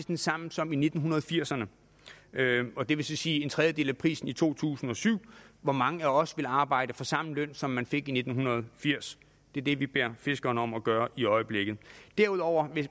den samme som i nitten firserne og det vil så sige en tredjedel af prisen i to tusind og syv hvor mange af os ville arbejde for samme løn som man fik i nitten firs det er det vi beder fiskerne om at gøre i øjeblikket derudover er